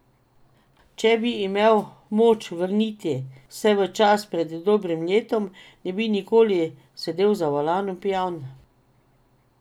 Če bi imel moč vrniti se v čas pred dobrim letom, ne bi nikoli sedel za volan pijan.